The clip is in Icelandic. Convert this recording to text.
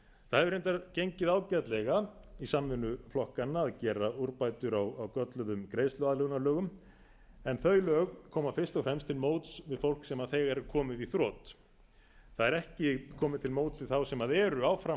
það hefur reyndar gengið ágætlega í samvinnu flokkanna að gera umbætur á gölluðum greiðsluaðlögunarlögum en þau lög koma fyrst og fremst til móts við fólk sem þegar er komið í þrot það er ekki komið til móts við þá sem eru áfram